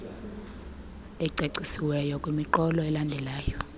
ecacisiweyo kwimiqolo elandelayo